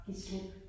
Give slip